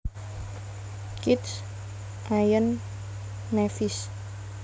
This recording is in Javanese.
Kitts lan Nevis